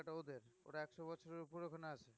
টা ওদের ওরা একশো বছরের উপরে ওখানে আছে